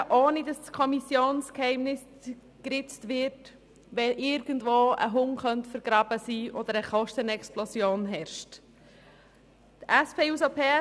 Diese können darüber informieren, wenn irgendwo ein Hund begraben sein könnte oder eine Kostenexplosion vorliegt, ohne dass das Kommissionsgeheimnis geritzt wird.